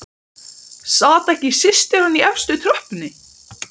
Sat ekki systir hans í efstu tröppunni!